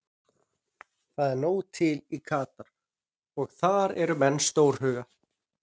Það er nóg til í Katar og þar eru menn stórhuga.